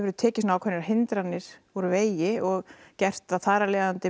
við tekið ákveðnar hindranir úr vegi og gert þær þar af leiðandi